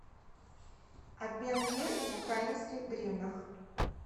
обмен лир в украинских гривнах